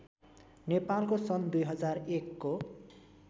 नेपालको सन् २००१को